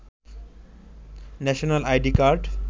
national ID card